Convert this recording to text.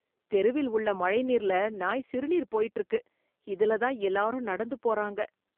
தெருவில் உள்ள மழை நீர்ல நாய் சிறுநீர் போயிட்டு இருக்கு, இதுலதான் எல்லாரும் நடந்து போறாங்க.